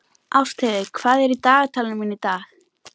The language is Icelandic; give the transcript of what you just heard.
Ástheiður, hvað er í dagatalinu mínu í dag?